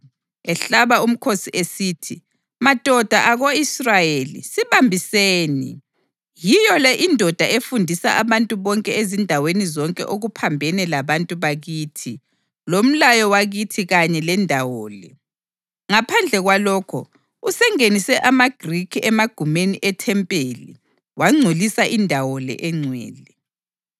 ehlaba umkhosi esithi, “Madoda ako-Israyeli; sibambiseni! Yiyo le indoda efundisa abantu bonke ezindaweni zonke okuphambene labantu bakithi lomlayo wakithi kanye lendawo le. Ngaphandle kwalokho, usengenise amaGrikhi emagumeni ethempeli wangcolisa indawo le eNgcwele.”